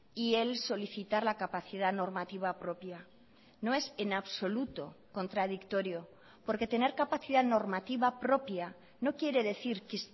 y el solicitar la capacidad normativa propia no es en absoluto contradictorio porque tener capacidad normativa propia no quiere decir que